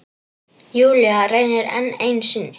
Júlía reynir enn einu sinni.